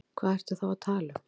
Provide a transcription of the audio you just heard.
Hvað ertu þá að tala um?